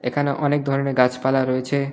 এখানে অনেক ধরনের গাছপালা রয়েছে।